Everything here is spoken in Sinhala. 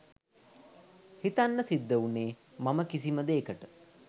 හිතන්න සිද්ධ වුනේ මම කිසිමදේකට